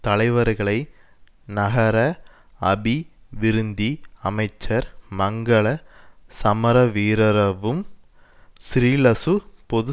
தலைவர்களை நகர அபிவிருந்தி அமைச்சர் மங்கள சமரவீரரவும் ஸ்ரீலசு பொது